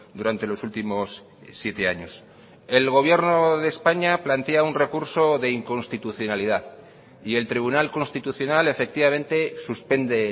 durante los últimos siete años el gobierno de españa plantea un recurso de inconstitucionalidad y el tribunal constitucional efectivamente suspende